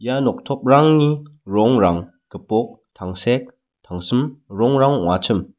ia noktoprangni rongrang gipok tangsek tangsim rongrang ong·achim.